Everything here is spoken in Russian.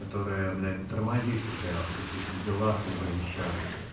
которая блять тормозит тебя в каких-то делах либо вещах